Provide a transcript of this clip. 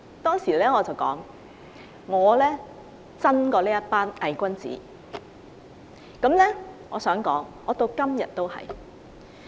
當時我說我比這群偽君子真，我至今也是如此。